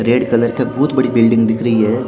Red colour का बहुत बड़ी बिल्डिंग दिख रही है।